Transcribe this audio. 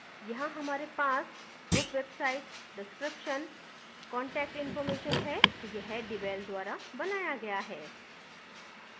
यहाँ हमारे पास group website description contact information है यह devel द्वारा बनाया गया है